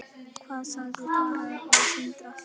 Hvað sagði Tara við Sindra?